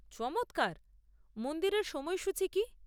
চমৎকার; মন্দিরের সময়সূচী কী?